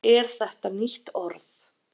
er þetta nýtt orð